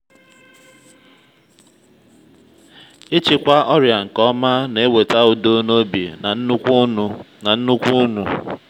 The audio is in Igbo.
ịchịkwa ọrịa nke ọma na-eweta udo n’obi na nnukwu ụnụ. nnukwu ụnụ.